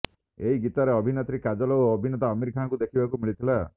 ଏହି ଗୀତରେ ଅଭିନେତ୍ରୀ କାଜଲ ଓ ଅଭିନେତା ଅମିର ଖାନଙ୍କୁ ଦେଖିବାକୁ ମିଳିଥିଲା